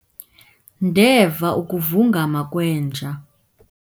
ndeva ukuvungama kwenja